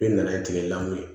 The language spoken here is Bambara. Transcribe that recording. I nana ye tigɛ la koyi